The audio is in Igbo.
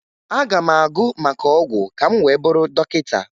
Aga m agụ maka ọgwụ ka m wee bụrụ dọkịta